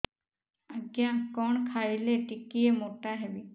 ଆଜ୍ଞା କଣ୍ ଖାଇଲେ ଟିକିଏ ମୋଟା ହେବି